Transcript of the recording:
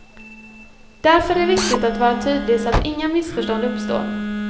Därför är det viktigt att vara tydlig så att inga missförstånd uppstår.